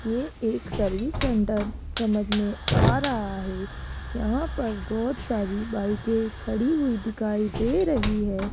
ये एक service centre समझ में आ रहा है यहां पर बहोत सारी बाइके के खड़ी हुई दिखाई दे रही है।